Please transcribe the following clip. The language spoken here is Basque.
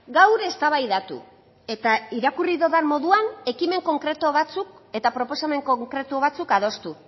gaur eztabaidatu eta irakurri dudan moduan ekimen konkretu batzuk eta proposamen konkretu batzuk adostu